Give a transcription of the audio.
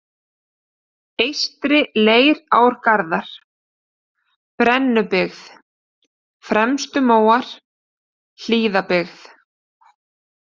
Eystri-Leirárgarðar, Brennubyggð, Fremstumóar, Hlíðabyggð